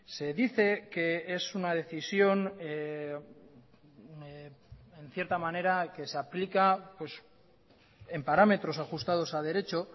se dice que es una decisión en cierta manera que se aplica en parámetros ajustados a derecho